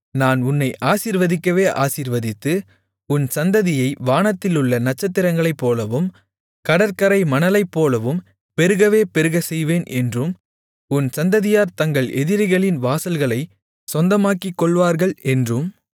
நான் உன்னை ஆசீர்வதிக்கவே ஆசீர்வதித்து உன் சந்ததியை வானத்திலுள்ள நட்சத்திரங்களைப்போலவும் கடற்கரை மணலைப்போலவும் பெருகவே பெருகச்செய்வேன் என்றும் உன் சந்ததியார் தங்கள் எதிரிகளின் வாசல்களைச் சொந்தமாக்கிக் கொள்ளுவார்கள் என்றும்